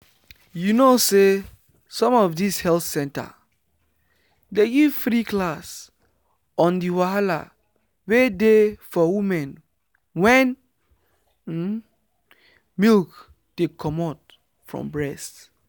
you know say some of this health center dey give free class on the wahala wey dey for women wen um milk dey comot from breast.